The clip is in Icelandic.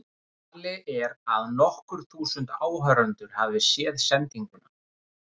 Talið er að nokkur þúsund áhorfendur hafi séð sendinguna.